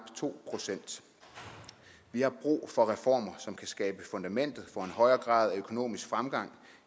to procent vi har brug for reformer som kan skabe fundamentet for en højere grad af økonomisk fremgang